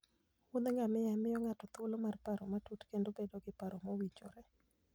Wuoth ngamia miyo ng'ato thuolo mar paro matut kendo bedo gi paro mowinjore.